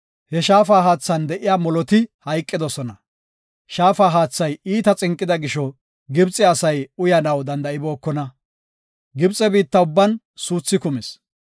He Shaafa haathan de7iya moloti hayqidosona. Shaafa haathay iita xinqida gisho, Gibxe asay uyanaw danda7ibookona. Gibxe biitta ubban suuthi kumis.